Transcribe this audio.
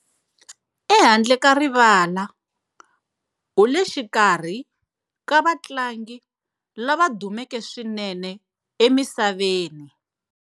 Ehandle ka rivala, u le xikarhi ka vatlangi lava dumeke swinene emisaveni.